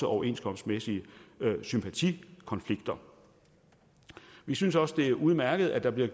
overenskomstmæssige sympatikonflikter vi synes også det er udmærket at der bliver